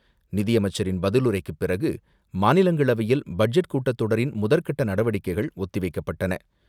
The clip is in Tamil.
நிதியமைச்சரின் பதிலுரைக்கு பிறகு, மாநிலங்களவையில் பட்ஜெட் கூட்டத்தொடரின் முதற்கட்ட நடவடிக்கைகள் ஒத்திவைக்கப்பட்டன.